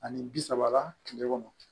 Ani bi saba la kile kɔnɔ